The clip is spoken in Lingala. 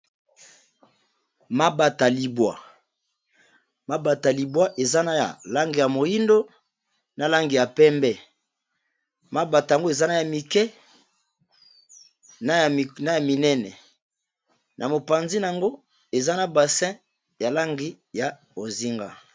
Mabata libwa, mabata libwa eza na langi ya moindo, na langi ya pembe. Mabata yango ezana ya mike, na ya minene. Na mopanzi na yango, eza na basin ya langi ya bozinga.